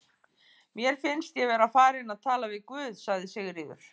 Mér finnst ég vera farin að tala við guð, sagði Sigríður.